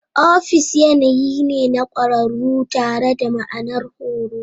Ofis yanayi ne na ƙwararru tare da ma'anar horo.